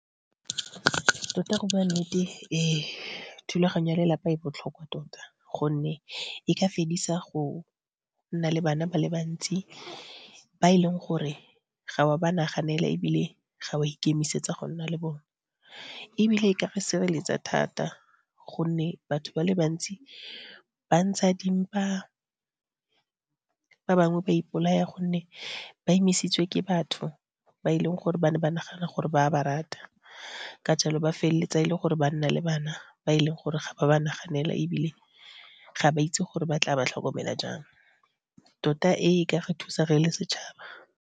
Tota, go bua nnete, ee thulaganyo ya lelapa e botlhokwa tota, gonne e ka fedisa go nna le bana ba le bantsi ba e leng gore ga o ba naganela ebile ga wa ikemisetsa go nna le bone. Ebile, e ka go sireletsa thata, gonne batho ba le bantsi ba ntsha dimpa, ba bangwe ba ipolaya gonne ba imisitswe ke batho ba e leng gore ba ne ba nagana gore ba ba rata. Ka jalo, ba feleletsa e le gore ba nna le bana ba e leng gore ga ba ba naganela ebile ga ba itse gore ba tla ba tlhokomela jang. Tota, ee ka re thusa re le setšhaba.